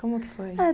Como que foi? A